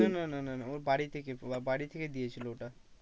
না না না না ওর বাড়ি থেকে, বাড়ি থেকে দিয়েছিলো ওটা